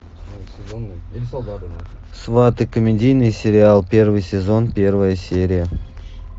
сваты комедийный сериал первый сезон первая серия